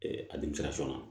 a na